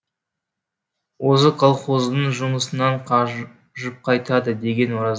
өзі колхоздың жұмысынан қажып қайтады деген ораз